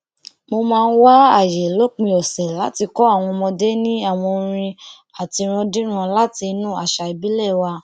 mo máa ń wá àyè lópin ọsẹ láti kó àwọn ọmọdé ní àwọn orin àtirándíran láti inú àṣà ìbílẹ wa